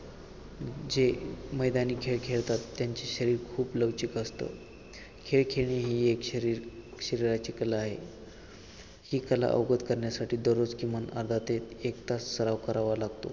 जे मैदानी खेळ खेळतात त्यांचे शरीर खूप लवचिक असत खेळ खेळणे ही एक शरीर शरीराची कला आहे ही कला अवगत करण्यासाठी दररोज किमान अर्धा ते एक तास सराव करावा लागतो.